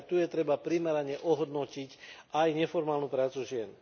Práve tu treba primerane ohodnotiť aj neformálnu prácu žien.